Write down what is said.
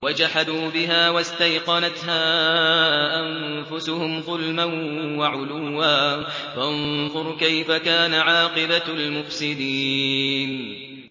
وَجَحَدُوا بِهَا وَاسْتَيْقَنَتْهَا أَنفُسُهُمْ ظُلْمًا وَعُلُوًّا ۚ فَانظُرْ كَيْفَ كَانَ عَاقِبَةُ الْمُفْسِدِينَ